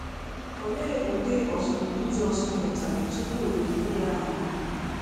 Olee ụdị ọzụzụ Jizọs nwetara tupu e zite ya n’ụwa?